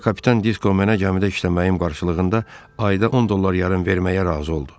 Sonra kapitan Disko mənə gəmidə işləməyim qarşılığında ayda 10 dollar yarım verməyə razı oldu.